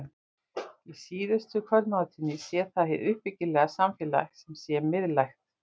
Í síðustu kvöldmáltíðinni sé það hið uppbyggilega samfélag sem sé miðlægt.